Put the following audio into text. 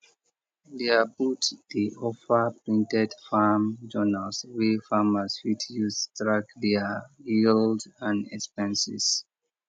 their booth dey offer printed farm journals wey farmers fit use track their yield and expenses